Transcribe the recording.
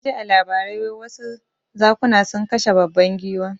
Naji a labarai wai wasu zakuna sun kashe babban giwa